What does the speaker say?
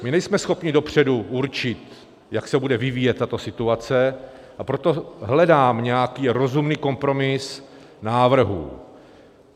My nejsme schopni dopředu určit, jak se bude vyvíjet tato situace, a proto hledám nějaký rozumný kompromis návrhů.